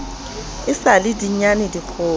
e sa le dinyane dikgolo